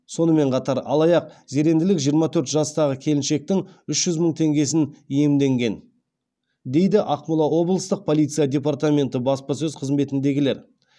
сонымен қатар алаяқ зеренділік жиырма төрт жастағы келіншектің үш жүз мың теңгесін иемденген дейді ақмола облыстық полиция департаменті баспасөз қызметіндегілер